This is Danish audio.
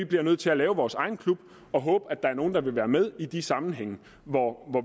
bliver nødt til at lave vores egen klub og håbe at der er nogle der vil være med i de sammenhænge hvor